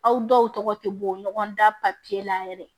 Aw dɔw tɔgɔ tɛ bɔ ɲɔgɔn da papiye la yɛrɛ